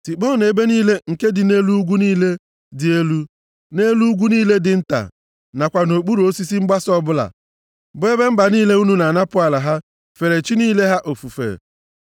Tikpọọnụ ebe niile nke dị nʼelu ugwu niile dị elu na nʼelu ugwu niile dị nta, nakwa nʼokpuru osisi mgbasa ọbụla, bụ ebe mba niile unu na-anapụ ala ha fere chi niile ha ofufe.